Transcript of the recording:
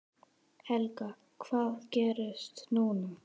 Helga: Hvað gerist núna?